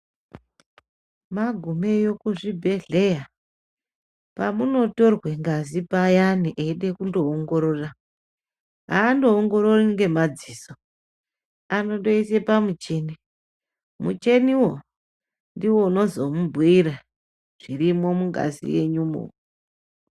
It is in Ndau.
Magumeyo kuzvibhedhleya, pamunotorwa ngazi payana eyide kundoongorora, aandoongorori ngemadziso ,anondoyise pamuchini, muchiniwo ndiwo unozomubhuyira zvirimwo mungazi yenyumo.